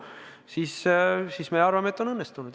Kui see nii läheb, siis me arvame, et reform on õnnestunud.